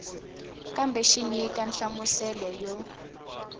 kambe xi nyika nhlamuselo yo